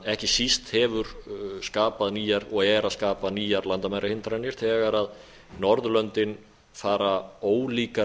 ekki síst hefur skapað nýjar og er að skapa nýjar landamæra hindranir þegar norðurlöndin fara ólíkar